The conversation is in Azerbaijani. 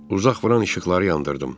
Uzaq vuran işıqları yandırdım.